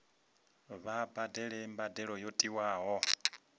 vha badele mbadelo yo tiwaho